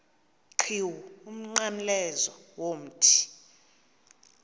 qhiwu umnqamlezo womthi